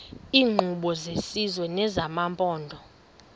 iinkqubo zesizwe nezamaphondo